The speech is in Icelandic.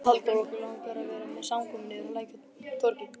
Halldór, okkur langar að vera með samkomu niðri á Lækjartorgi.